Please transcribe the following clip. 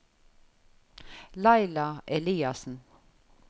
Laila Eliassen